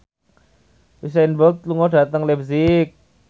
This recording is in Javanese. Usain Bolt lunga dhateng leipzig